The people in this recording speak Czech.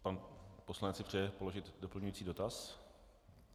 Pan poslanec si přeje položit doplňující dotaz?